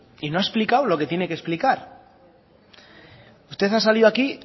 y no ha explicado lo que tiene que explicar usted ha salido aquí